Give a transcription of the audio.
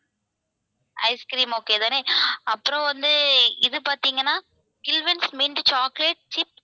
ice cream okay தானே அப்புறம் வந்து இது பாத்தீங்கனா mint chocolate ice cream